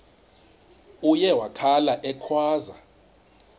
uye wakhala ekhwaza